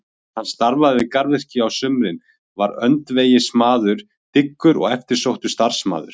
Hann starfaði við garðyrkju á sumrin, var öndvegismaður, dyggur og eftirsóttur starfsmaður.